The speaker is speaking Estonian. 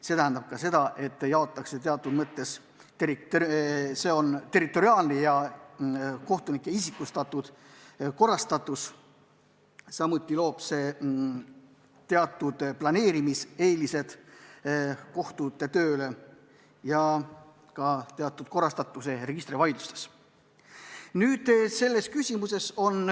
See tähendab ka territoriaalset ja kohtunike isikliku töökoormuse korrastatust, samuti loob see eeliseid kohtute töö planeerimisel ja teatud korrastatuse registrivaidlustes.